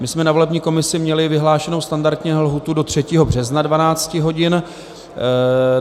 My jsme na volební komisi měli vyhlášenu standardně lhůtu do 3. března 12 hodin.